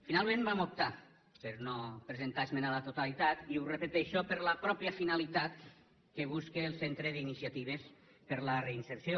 finalment vam optar per no presentar esmena a la totalitat i ho repeteixo per la pròpia finalitat que busca el centre d’iniciatives per a la reinserció